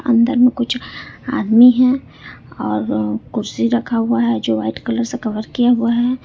अंदर में कुछ आदमी है और कुर्सी रखा हुआ है जो वाइट कलर से कवर किया हुआ है।